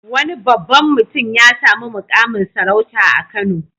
Wani babban mutum ya sami muƙamin sarauta a Kano.